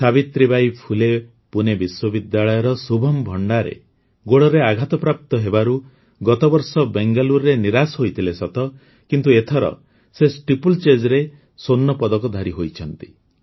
ସାବିତ୍ରୀ ବାଇ ଫୁଲେ ପୁନେ ବିଶ୍ୱବିଦ୍ୟାଳୟର ଶୁଭମ୍ ଭଣ୍ଡାରେ ଗୋଡ଼ରେ ଆଘାତପ୍ରାପ୍ତ ହେବାରୁ ଗତବର୍ଷ ବେଙ୍ଗଲୁରୁରେ ନିରାଶ ହୋଇଥିଲେ କିନ୍ତୁ ଏଥର ସେ ଷ୍ଟିପଲ୍ଚେଜ୍ରେ ସ୍ୱର୍ଣ୍ଣପଦକଧାରୀ ହୋଇଛନ୍ତି